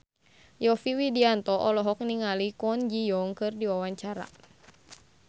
Yovie Widianto olohok ningali Kwon Ji Yong keur diwawancara